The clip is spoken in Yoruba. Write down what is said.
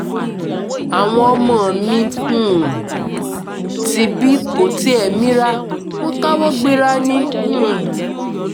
àwọn ọmọ mi um tibí kò tiẹ̀ mira wọn káwọ́ gbera ni um